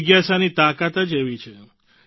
જિજ્ઞાસાની તાકાત જ એવી છે